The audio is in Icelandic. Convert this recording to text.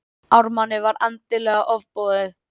Ármanni var endanlega ofboðið.